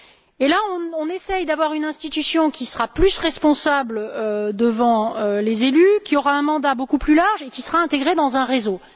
Et là, on essaie d'avoir une institution qui sera plus responsable devant les élus, qui aura un mandat beaucoup plus large et qui sera intégrée dans un réseau.